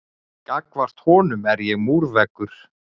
Gagnvart honum er ég múrveggur.